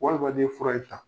Walima n'i ye fura in ta